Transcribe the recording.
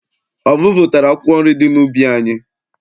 Ọvụvụ tachara akwụkwọ nri di n'ubi anyị.